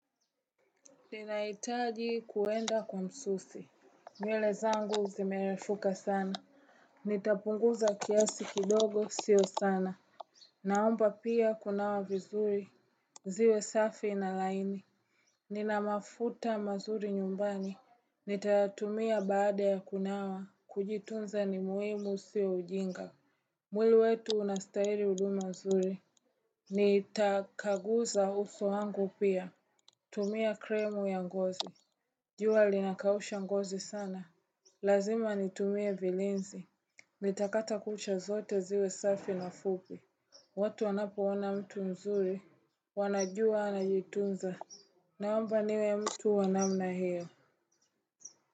Ninahitaji kuenda kwa msusi nywele zangu zimerefuka sana Nitapunguza kiasi kidogo sio sana Naomba pia kunawa vizuri ziwe safi na laini Nina mafuta mazuri nyumbani nitayatumia baada ya kunawa kujitunza ni muhimu sio ujinga mwili wetu unastahili huduma nzuri Nitakaguza uso wangu pia tumia kremu ya ngozi jua linakausha ngozi sana Lazima nitumie vilinzi nitakata kucha zote ziwe safi na fupi watu anapoona mtu mzuri wanajua anajitunza Naomba niwe mtu wa namna hiyo.